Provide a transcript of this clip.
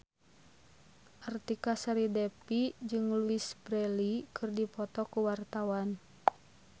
Artika Sari Devi jeung Louise Brealey keur dipoto ku wartawan